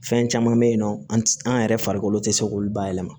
Fɛn caman bɛ yen nɔ an tɛ an yɛrɛ farikolo tɛ se k'olu bayɛlɛma